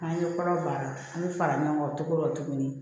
An ye kɔrɔ baara an bɛ fara ɲɔgɔn kan cogo dɔ la tuguni